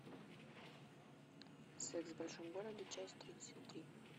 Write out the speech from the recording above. секс в большом городе часть тридцать три